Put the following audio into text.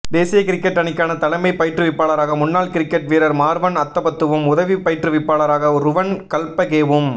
தேசிய கிரிக்கட் அணிக்கான தலைமை பயிற்றுவிப்பாளராக முன்னாள் கிரிக்கட் வீரர் மார்வன் அத்தபத்துவும் உதவி பயிற்றுவிப்பாளராக ருவன் கல்பகேவும்